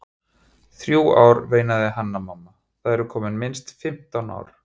Þrjú ár, veinaði Hanna-Mamma, það eru komin minnst fimmtán ár.